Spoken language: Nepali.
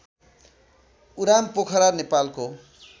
उरामपोखरा नेपालको